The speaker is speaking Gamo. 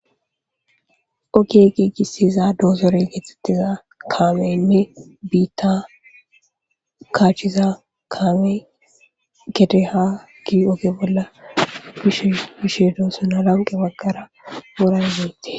Oki qiigisiza doosorey getxettiza kaameynne biitta kaachiza kaame gete ha gi oge bolla bishe bishe doosona lanqe baggara worangeette.